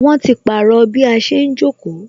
Wọn ti pàrọ̀ bí a ṣe ń jókòó